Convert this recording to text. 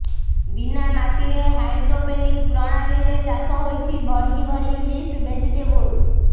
ବିନା ମାଟିରେ ହାଇଡ୍ରୋପେନିକ ପ୍ରଣାଳୀରେ ଚାଷ ହୋଇଛି ଭଳିକି ଭଳି ଲିଫ ଭେଜିଟେବୁଲ